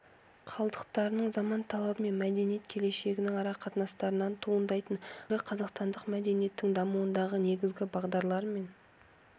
қалдықтарының заман талабы мен мәдениет келешегінің арақатынастарынан туындайтын қазіргі қазақстандық мәдениеттің дамуындағы негізгі бағдарлар мен